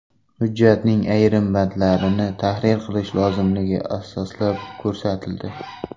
Hujjatning ayrim bandlarini tahrir qilish lozimligi asoslab ko‘rsatildi.